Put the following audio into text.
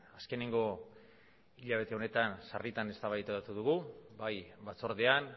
azkeneko hilabete honetan sarritan eztabaidatu dugu bai batzordean